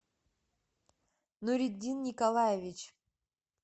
нуритдин николаевич